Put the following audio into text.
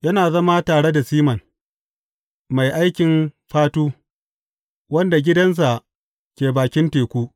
Yana zama tare da Siman, mai aikin fatu, wanda gidansa ke bakin teku.